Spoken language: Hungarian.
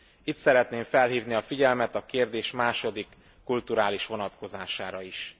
Itt szeretném felhívni a figyelmet a kérdés második, kulturális vonatkozására is.